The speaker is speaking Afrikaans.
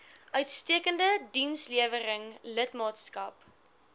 uitstekende dienslewering lidmaatskap